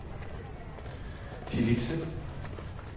Tillitse